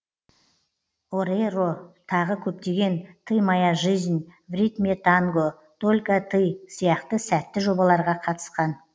орейро тағы көптеген ты моя жизнь в ритме танго только ты сияқты сәтті жобаларға қатысқан